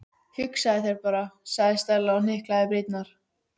Hugsaðu þér bara- sagði Stella og hnyklaði brýnnar.